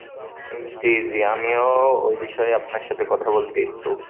জি জি আমিও ওই বিষয়ে আপনার সাথে কথা বলতে ইচ্ছুক।